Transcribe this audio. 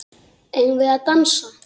Eigum við að dansa?